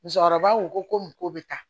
Musokɔrɔbaw ko ko nin ko bɛ taa